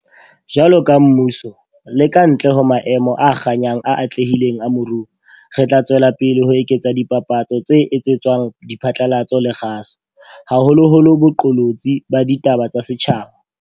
Jwaloka mmuso, le ka ntle ho maemo a kganyang a atlehileng a moruo, re tla tswela pele ho eketsa dipapatso tse etsetswang diphatlalatso le kgaso, haholoholo boqolotsi ba ditaba tsa setjhaba.